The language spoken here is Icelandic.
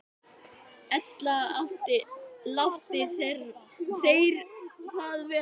Ella láti þeir það vera.